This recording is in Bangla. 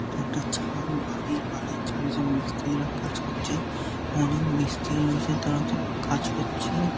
এটা একটা ছাদ বাড়ির বাড়ির ছাদে মিস্তিরিরা কাজ করছে অনেক মিস্তিরি রয়েছে তারা তো কাজ করছে ।